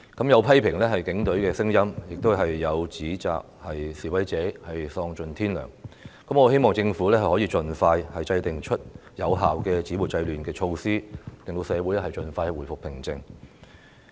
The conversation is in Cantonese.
有批評警方的聲音，也有指責示威者喪盡天良，我希望政府能夠盡快制訂有效止暴制亂的措施，令社會盡快回復平靜。